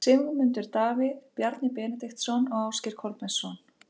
Sigmundur Davíð, Bjarni Benediktsson og Ásgeir Kolbeinsson.